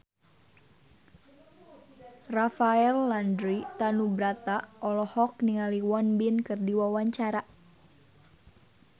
Rafael Landry Tanubrata olohok ningali Won Bin keur diwawancara